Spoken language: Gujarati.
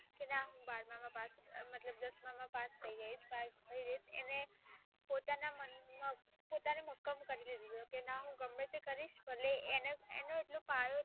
કે ના બારમાં માં મતલબ દસમાં માં પાસ થઈ ગઈ છે. એને. પોતાની મક્કમ કરી ને વિડિઓ કે ના હું ગમે તે કરીશ જો પાયો છે